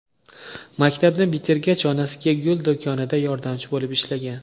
Maktabni bitirgach onasiga gul do‘konida yordamchi bo‘lib ishlagan.